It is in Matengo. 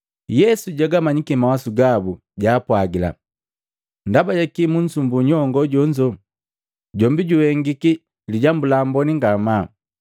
Yesu jagamanyiki mawasu gabu jaapwajila, “Ndaba jakii munsumbu nyongo jonzo? Jombi juhengiki lijambu la amboni ngamaa.